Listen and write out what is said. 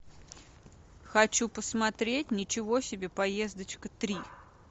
хочу посмотреть ничего себе поездочка три